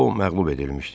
O məğlub edilmişdi.